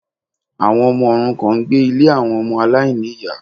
Àwọn ọmọ òrukàn n gbé Ilé àwọn Ọmọ aláìníyà